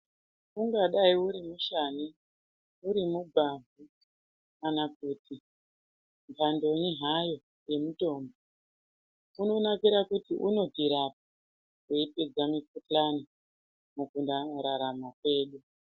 Unhadai uri mushani uri mugwavha kana kuti mbandoyi hayo yemutombo unonakira kuti unotirapa weyipedza mukuhlani mukurarama kwedu.